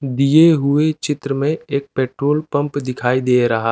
दिए हुए चित्र में एक पेट्रोल पम्प दिखाई दे रहा--